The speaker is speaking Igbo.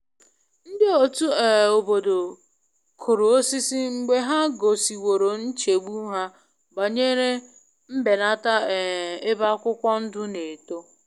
Ndị otu um obodo kụrụ osisi mgbe ha gosiworo nchegbu ha banyere mbenata um ebe akwụkwọ ndụ na eto.